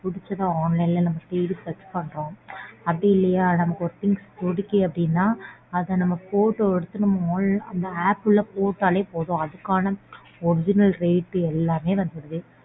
புடிச்சத online ல நாம தேடி search பண்றோம். அப்டிஇல்லையா நமக்கு ஒரு things புடிக்கு அப்படினா அதை நம்ம photo எடுத்து அந்த app க்குள போட்டாலே போதும் அதுக்கான original rate எல்லாமே வந்துருது.